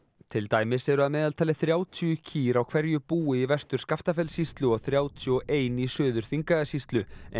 til dæmis eru að meðaltali þrjátíu kýr á hverju búi í Vestur Skaftafellssýslu og þrjátíu og eitt í Suður Þingeyjarsýslu en